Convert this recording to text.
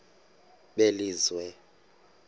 belizwe